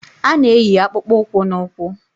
A na-eyi akpụkpọ ụkwụ n'ụkwụ